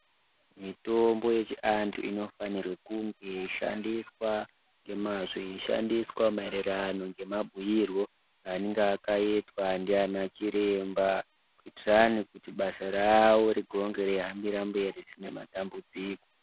Mitombo yechiantu inofanirwe kunge ichishandiswa ngemazvo yeishandiswa maererano ngemabhuyirwo anange akaitwa ndiana chiremba kuitira kuti basa ravo ringe reihambire mberi kusina dambudziko.